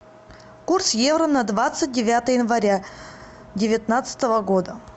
курс евро на двадцать девятое января девятнадцатого года